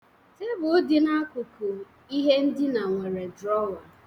Tebụl dị n'akụkụ ihe ndina nwere drọwa.